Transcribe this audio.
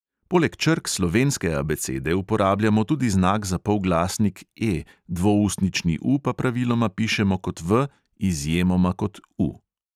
Poleg črk slovenske abecede uporabljamo tudi znak za polglasnik E, dvoustnični U pa praviloma pišemo kot V, izjemoma kot U.